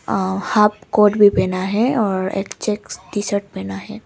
आह half coat भी पहना है और चेक टी-शर्ट पहना है।